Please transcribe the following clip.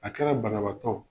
A kɛra banabaatɔ